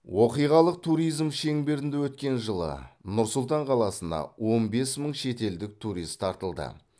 оқиғалық туризм шеңберінде өткен жылы нұр сұлтан қаласына он бес мың шетелдік турист тартылды